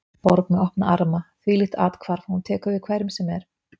Borg með opna arma, þvílíkt athvarf, hún tekur við hverjum sem er.